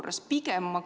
Riigikogu esimees!